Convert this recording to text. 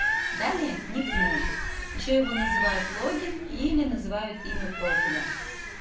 далее никнейм ещё его называют логин или называют имя профиля